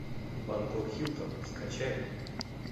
бангкок хилтон скачай